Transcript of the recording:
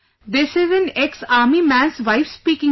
This is an ex Army man's wife speaking sir